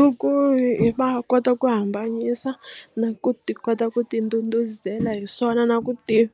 I ku i va kota ku hambanyisa na ku ti kota ku ti ndhudhuzela hi swona na ku